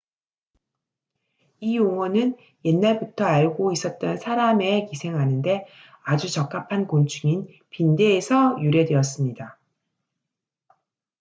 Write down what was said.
이 용어는 옛날부터 알고 있었던 사람에 기생하는 데 아주 적합한 곤충인 빈대에서 유래되었습니다